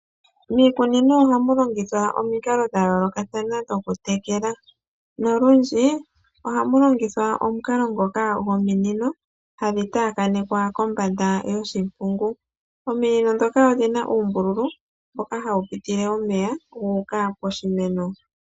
Miikunino ohamu longithwa omikalo dha yoolokathana dhokutekela. Nolundji ohamu longithwa omukalo ngoka gominino hadhi taakanekwa kombanda yoshimpungu. Ominino ndhoka odhi na uumbululu mboka hawu pitile omeya gu uka poshimeno.